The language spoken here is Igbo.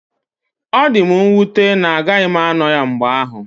Ọ dị m nwute na agaghị m ano ya mgbe ahụ.